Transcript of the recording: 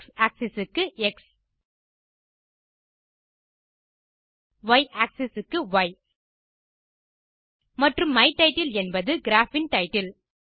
X axis க்கு X Y axis க்கு Y மற்றும் மை டைட்டில் என்பது கிராப் இன் டைட்டில்